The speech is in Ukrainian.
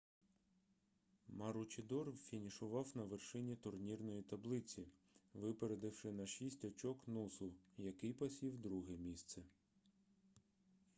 маручідор фінішував на вершині турнірної таблиці випередивши на шість очок нусу який посів друге місце